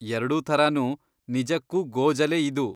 ಎರ್ಡೂ ಥರಾನೂ ನಿಜಕ್ಕೂ ಗೋಜಲೇ ಇದು.